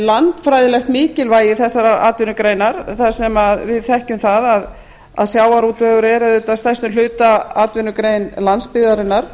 landfræðilegt mikilvægi þessarar atvinnugreinar þar sem við þekkjum það að sjávarútvegur er auðvitað að stærstum hluta atvinnugrein landsbyggðarinnar